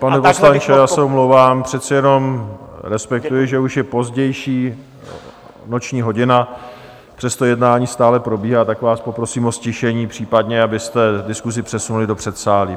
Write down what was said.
Pane poslanče, já se omlouvám, přece jenom respektuji, že už je pozdější noční hodina, přesto jednání stále probíhá, tak vás poprosím o ztišení, případně abyste diskusi přesunuli do předsálí.